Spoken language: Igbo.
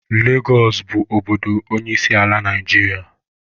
Legosụ bụ obodo onyeisiala Naijiria.